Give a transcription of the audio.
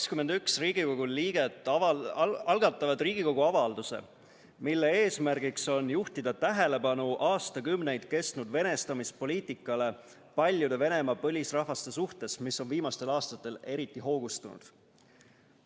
21 Riigikogu liiget algatavad Riigikogu avalduse eelnõu, mille eesmärk on juhtida tähelepanu aastakümneid kestnud venestamispoliitikale, mida on kasutatud paljude Venemaa põlisrahvaste suhtes ja mis on viimastel aastatel eriti hoogustunud.